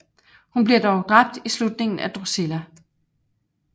Hun bliver dog dræbt i slutningen af Drusilla